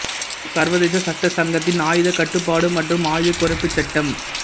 சர்வதேச சட்ட சங்கத்தின் ஆயுதக் கட்டுப்பாடு மற்றும் ஆயுதக் குறைப்புச் சட்டம்